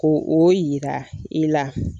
Ko o yira i la.